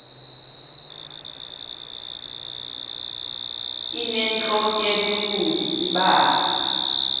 inentlok ebuhlungu ibanga